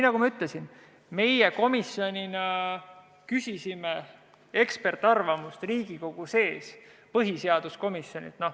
Nagu ma ütlesin, küsisime komisjoniga eksperdiarvamust Riigikogu põhiseaduskomisjonilt.